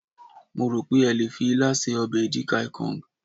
mo ro pe a le fi ila se obe edikaikong